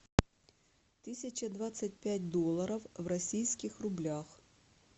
тысяча двадцать пять долларов в российских рублях